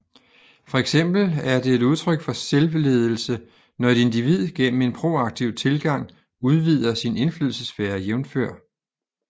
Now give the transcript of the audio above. Fx er det et udtryk for selvledelse når et individ gennem en proaktiv tilgang udvider sin indflydelsessfære jf